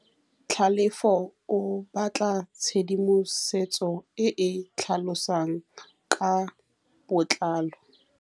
Tlhalefô o batla tshedimosetsô e e tlhalosang ka botlalô.